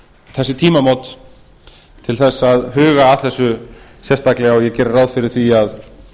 þessi tímamót til að huga að þessu sérstaklega og ég geri ráð fyrir því að